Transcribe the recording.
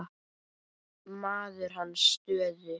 Maður í hans stöðu.